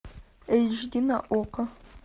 эйч ди на окко